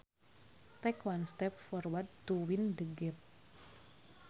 Take one step forward to win the game